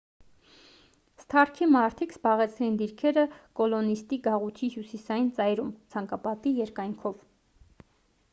սթարքի մարդիկ զբաղեցրին դիրքերը կոլոնիստի գաղութի հյուսիսային ծայրում ցանկապատի երկայնքով